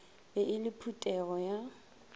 be e le phuthego ya